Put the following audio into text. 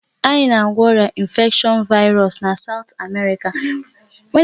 Anyị na-agwọ ọrịa infection virus na South America.